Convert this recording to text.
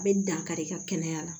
A bɛ dankari ka kɛnɛya la